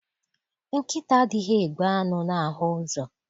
Nkịta adịghị egbu anụ na ahụ ụzọ.